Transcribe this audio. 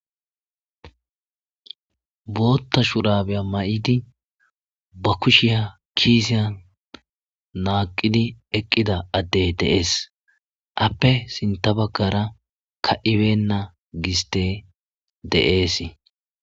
bootta shurabeya ma7idi ba kushiya kiisiyan naaqidi eqqida addey deees appe sinta bagkara ka ibenna giste de7ees